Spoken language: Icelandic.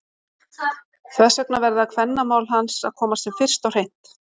Þess vegna verða kvennamál hans að komast sem fyrst á hreint!